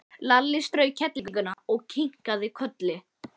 Lalli strauk kettlingnum og kinkaði kolli.